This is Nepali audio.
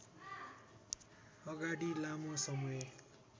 अगाडि लामो समय